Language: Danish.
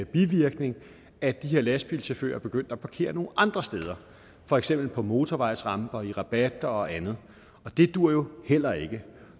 bivirkning at de her lastbilchauffører er begyndt at parkere nogle andre steder for eksempel på motorvejsramper i rabatter og andet og det duer jo heller ikke